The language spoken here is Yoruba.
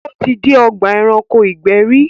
Ó ti dé ọgbà ẹranko ìgbẹ́ rí